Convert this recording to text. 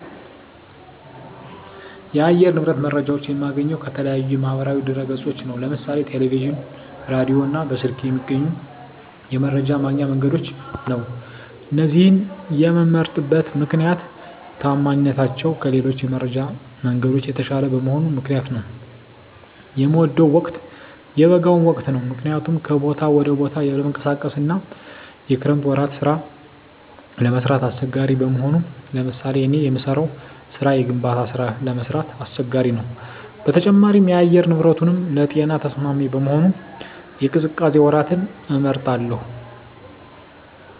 የአየር ንብረት መረጃዎች የማገኘው ከተለያዩ የማህበራዊ ድህረገጾች ነው ለምሳሌ ቴለቪዥን ራዲዮ እና በስልክ ከሚገኙ የመረጃ ማግኛ መንገዶች ነው እነዚህን የመምመርጥበት ምክነያት ተአማኒነታቸው ከሌሎች የመረጃ መንገዶች የተሻለ በመሆኑ ምክንያት ነው። የምወደው ወቅት የበጋውን ወቅት ነው ምክንያቱም ከቦታ ወደ ቦታ ለመንቀሳቀስ አና የክረምት ወራት ስራ ለመስራት አሳቸጋሪ በመሆኑ ለምሳሌ እኔ የምሰራው ስራ የግንባታ ስራ ለመስራት አስቸጋሪ ነው በተጨማሪም የአየር ንብረቱንም ለጤና ተስማሚ በመሆኑ የቅዝቃዜ ወራትን እመርጣለሁ